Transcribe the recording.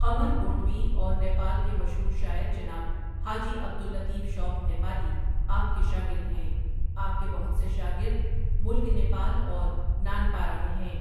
قمر گونڈوی اور نیپال کے مشہور شاعر جناب حاجی عبدالطیف شوقؔ نیپالی آپ کے شاگرد ہیں آپ کے بہت سے شاگرد ملک نیپال اور نانپارہ میں ہیں۔